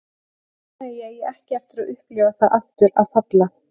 Ég vona að ég eigi ekki eftir að upplifa það aftur að falla.